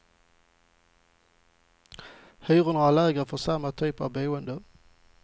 Hyrorna är lägre för samma typ av boende.